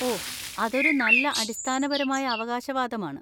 ഓ, അതൊരു നല്ല അടിസ്ഥാനപരമായ അവകാശവാദമാണ്.